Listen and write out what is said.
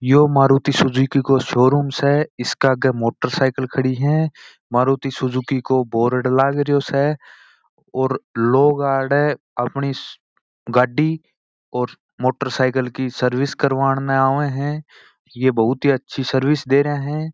ये मारुती सुजुकी का शोरूम स इसके आगे मोटर साइकिल खड़ी स मारुती सुजुकी को बोर्ड लगा स और लोग यहाँ अपनी गाड़ी और मोटर साइकिल की सर्विस कराने आव स ये बहुत ही अच्छी सर्विस दे रहे है।